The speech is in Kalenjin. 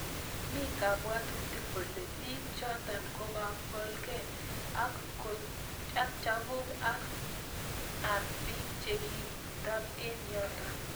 Mi kabwatutik kole bek choto kokongolke ak chapuk ab biik chikikitub eng yoto.